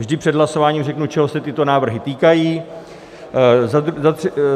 Vždy před hlasováním řeknu, čeho se tyto návrhy týkají.